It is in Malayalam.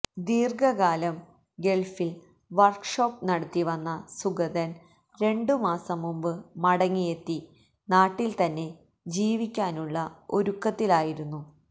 ദ്വീർഘകാലം ഗൾഫിൽ വർക്ക്ഷോപ്പ് നടത്തി വന്ന സുഗതൻ രണ്ടുമാസംമുമ്പ് മടങ്ങിയെത്തി നാട്ടിൽ തന്നെ ജീവിക്കാനുള്ള ഒരുക്കത്തിലായിരുന്നു